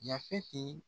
Yafeti